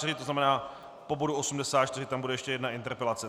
To znamená, po bodu 84 tam bude ještě jedna interpelace.